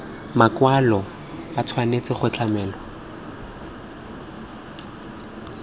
makwalo ba tshwanetse go tlamelwa